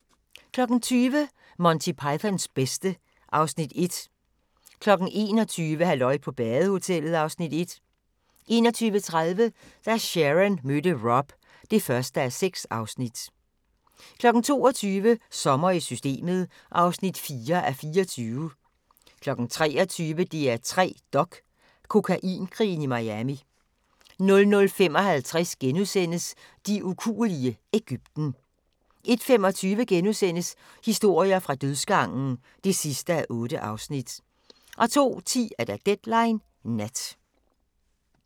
20:00: Monty Pythons bedste (Afs. 1) 21:00: Halløj på badehotellet (Afs. 1) 21:30: Da Sharon mødte Rob (1:6) 22:00: Sommer i Systemet (4:24) 23:00: DR3 Dok: Kokainkrigen i Miami 00:55: De ukuelige – Egypten * 01:25: Historier fra dødsgangen (8:8)* 02:10: Deadline Nat